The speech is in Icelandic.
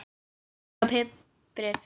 Saltið og piprið.